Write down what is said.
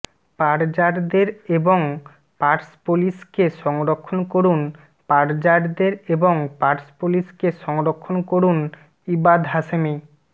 পারজারদের এবং পার্সপোলিসকে সংরক্ষণ করুন পারজারদের এবং পার্সপোলিসকে সংরক্ষণ করুন ইবাদ হাশেমী